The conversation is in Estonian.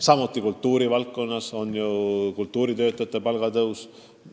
Samuti on meie eesmärk kultuuritöötajate palga tõus.